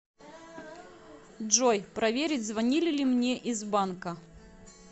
джой проверить звонили ли мне из банка